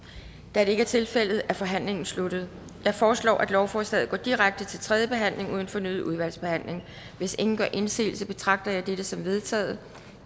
da det ikke er tilfældet er forhandlingen sluttet jeg foreslår at lovforslaget går direkte til tredje behandling uden fornyet udvalgsbehandling hvis ingen gør indsigelse betragter jeg dette som vedtaget